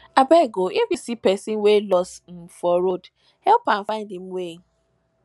abeg o if you see pesin wey loss um for road help am find im way